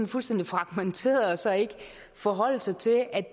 fuldstændig fragmenteret og så ikke forholde sig til at